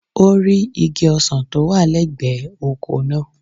O rí igi ọsàn tó wà lẹ́gbẹ̀ẹ́ oko náà.